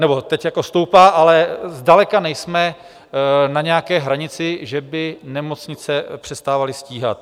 Nebo teď jako stoupá, ale zdaleka nejsme na nějaké hranici, že by nemocnice přestávaly stíhat.